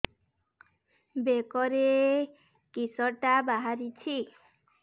ବେକରେ କିଶଟା ବାହାରିଛି